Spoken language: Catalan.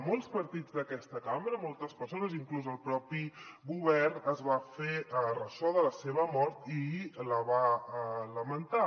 molts partits d’aquesta cambra moltes persones inclús el propi govern es van fer ressò de la seva mort i la va lamentar